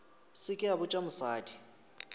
se ke a botša mosadi